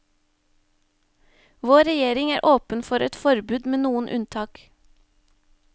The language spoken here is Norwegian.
Vår regjering er åpen for et forbud, med noen unntak.